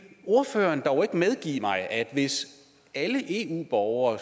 ordføreren dog ikke medgive mig at hvis alle eu borgere